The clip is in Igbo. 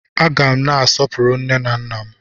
A gá m na-asọpụrụ nne na nna m